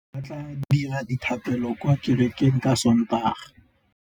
Bommê ba tla dira dithapêlô kwa kerekeng ka Sontaga.